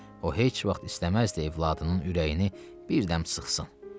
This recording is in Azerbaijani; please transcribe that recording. O heç vaxt istəməzdi evladının ürəyini birdəm sıxsın.